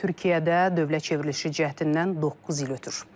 Türkiyədə dövlət çevrilişi cəhdindən doqquz il ötür.